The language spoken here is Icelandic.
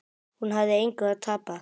Hún hafði engu að tapa.